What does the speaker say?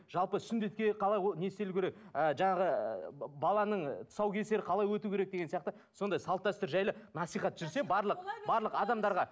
жалпы сүндетке не істелуі керек ы жаңағы баланың тұсаукесері қалай өтуі керек деген сияқты сондай салт дәстүр жайлы насихат жүрсе барлық барлық адамдарға